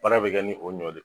Baara bɛ kɛ ni o nɔ de